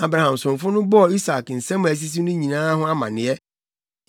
Abraham somfo no bɔɔ Isak nsɛm a asisi no nyinaa ho amanneɛ.